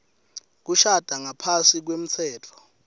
kushada ngaphasi kwemtsetfo